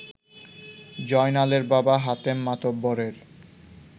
জয়নালের বাবা হাতেম মাতব্বরের